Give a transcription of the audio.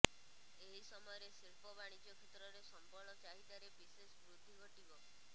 ଏହି ସମୟରେ ଶିଳ୍ପ ବାଣିଜ୍ୟ କ୍ଷେତ୍ରରେ ସମ୍ବଳ ଚାହିଦାରେ ବିଶେଷ ବୃଦ୍ଧି ଘଟିବ